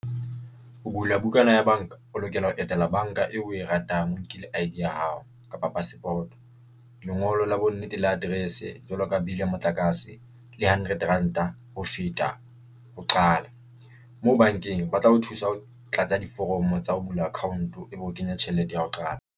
Ho bula bukana ya banka, o lokela ho etela banka eo o e ratang. O nkile I_D ya hao kapa passport, lengolo la bonnete le address jwalo ka bill ya motlakase le hundred ranta ho feta ho qala. Moo bankeng ba tla ho thusa ho tlatsa diforomo tsa ho bula account-o ebe o kenya tjhelete ya ho qala.